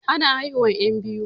Ana haihuwan 'yan biyu.